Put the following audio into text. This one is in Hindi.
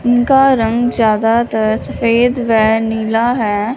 उनका रंग ज्यादातर सफेद व नीला है।